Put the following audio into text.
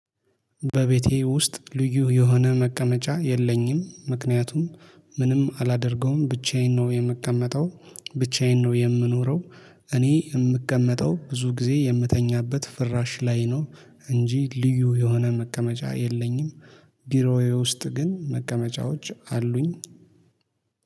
በቤቴ ውስጥ ልዩ የሆነ መቀመጫ የለኝም። ምክንያቱም ምንም አላደርገውም ብቻዬን ነው የምቀመጠው። ብቻዬን ነው የምኖረው። እኔ የምቀመጠው ብዙ ጊዜ የምተኛበት ፍራሽ ላይ ነው። እንጂ ልዩ የሆነ መቀመጫ የለኝም። ቢሮዬ ውስጥ ግን መቀመጫዎች አሉኝ።